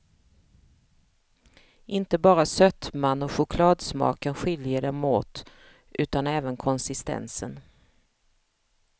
Inte bara sötman och chokladsmaken skiljer dem åt, utan även konsistensen.